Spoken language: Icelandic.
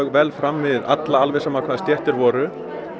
vel fram við alla alveg sama af hvaða stétt þeir voru og